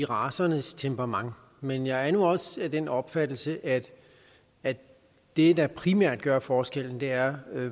racernes temperament men jeg er nu også af den opfattelse at at det der primært gør forskellen er